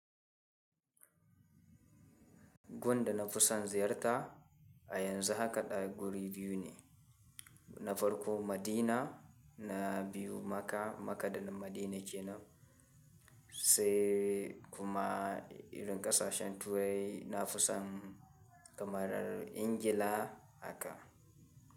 Gun da na fi son ziyarta a yanzu haka ɗaya guri biyu ne, na farko Madina na biyu Makka. Makka da Madina ce na sai kuma irin ƙasashen turai na fi son kamarar Injila haka.